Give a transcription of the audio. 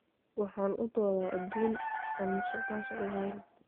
Waxaan u doodaa adduun aan musuqmaasuq lahayn.